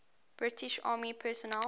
british army personnel